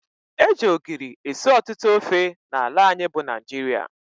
Eji ogiri esị ọtụtụ ofe n' ala anyị bụ Naijiria.